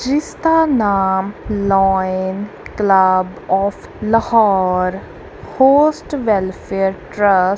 ਜਿਸਦਾ ਨਾਮ lion club of Lahore host welfare trust --